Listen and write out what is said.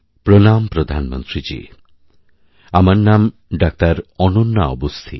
প্রণামপ্রধানমন্ত্রীজী আমার নাম ডাক্তার অনন্যা অগুস্থি